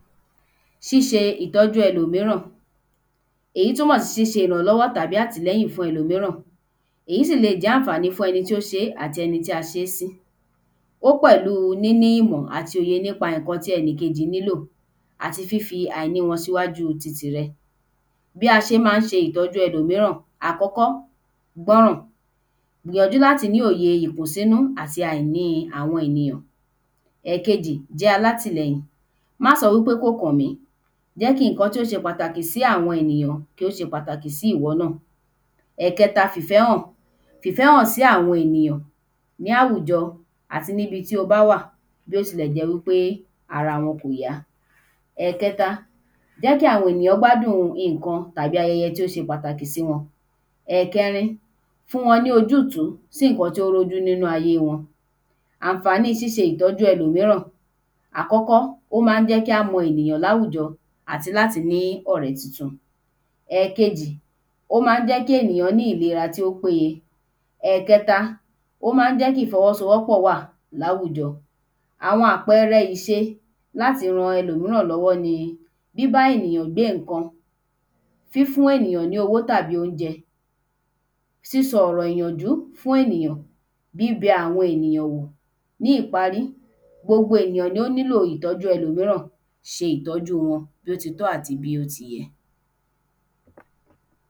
Ṣíṣe ìtọ́jú elòmíràn èyí túmọ̀ sí ṣíṣe ìrànlọ́wọ́ tàbí àtìlẹyìn fún elòmíràn èyí sì lè e jẹ́ àǹfàní fún ẹni tí ó ṣé tàbí ẹni tí a ṣé sí ó pẹ̀lúu níní ìmọ̀ àti ọ̀ye nípa ìnkan tí ẹnì kejì nílò àti àìní wọn síwájú ti tìrẹ bí a ṣe má ń ṣe ìtọ́jú elòmíràn àkọ́kọ́ gbọ́ràn gbìyànjú láti ní òye ìkùn sínú àti àìní awọn ènìyàn ẹ̀kejì jẹ́ alátìlẹyìn ma sọ wí pé kó kàn mí jẹ́ kí ìnkan tí ó ṣe pàtàkì sí àwọn ènìyàn kí ó ṣe pàtàkì sí ìwọ náà ẹ̀kẹta fìfẹ́hàn fìfẹ́hàn sí àwọn ènìyàn ní áwùjọ àti níbi tí o bá wà bí ó tilẹ̀ jẹ́ wí pé ara wọn kò yá ẹ̀kẹta jẹ́ kí àwọn èyàn gbádùn ìnkan tàbí ayẹyẹ tó ṣe pàtàkì ẹ̀kẹrin fún wọn ní ojútú sí ìnkan tó rójú nínú ayé wọn àǹfàní ṣíṣe ìtọ́jú elòmíràn àkọ́kọ́ ó má ń jẹ́ kí á mọ ènìyàn láwùjọ àti láti ní ọrẹ́ tuntun ẹ̀kejì ó má ń jẹ́ kí ènìyàn ní ìlera tí ó pé ye ẹ̀kẹta ó má ń jẹ́ kí ìfọwọ́sowọ́pọ̀ wà láwùjọ àwọn àpeẹrẹ ìṣe láti ran elòmíràn lọ́wọ́ ni bíbá ènìyàn gbé ǹkan fífún ènìyàn ní owó tàbí óunjẹ sísọ ọ̀rọ̀ ìyànjú fún ènìyàn bíbẹ àwọn ènìyàn wò ní ìparí gbogbo ènìyàn ni ó nílò ìtọ́jú elòmíràn ṣe ìtọ́jú wọn bí ó ti tọ́ ài bí ó ti yẹ